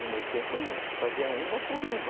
No meu tempo não, você fazia uma por uma.